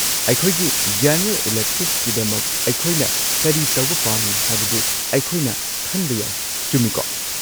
ꯑꯩꯈꯣꯏꯒꯤ ꯖꯦꯅꯔꯦꯜ ꯏꯂꯦꯛꯇꯤꯚꯀꯤꯗꯃꯛ ꯑꯩꯈꯣꯏꯅ ꯀꯔꯤ ꯇꯧꯕ ꯄꯥꯝꯃꯤ ꯍꯥꯏꯕꯗꯨ ꯑꯩꯈꯣꯏꯅ ꯈꯟꯕ ꯌꯥꯏ, ꯆꯨꯝꯃꯤꯀꯣ?